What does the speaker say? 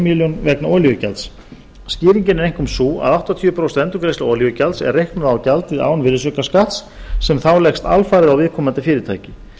milljón króna vegna olíugjalds skýringin er einkum sú að áttatíu prósent endurgreiðsla olíugjalds er reiknuð á gjaldið án virðisaukaskatt sem þá leggst alfarið á viðkomandi fyrirtæki